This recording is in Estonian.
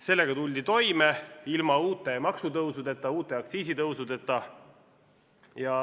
Sellega tuldi toime ilma uute maksutõusudeta, uute aktsiisitõusudeta.